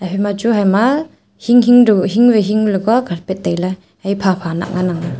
ima chu haima hing hing dau hing vai hing la kua carpet tailey hai phapha nah nganang aa.